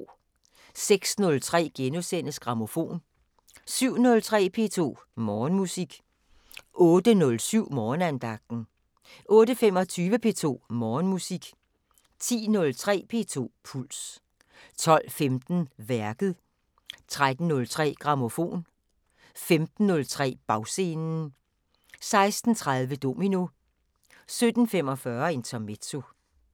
06:03: Grammofon * 07:03: P2 Morgenmusik 08:07: Morgenandagten 08:25: P2 Morgenmusik 10:03: P2 Puls 12:15: Værket 13:03: Grammofon 15:03: Bagscenen 16:30: Domino 17:45: Intermezzo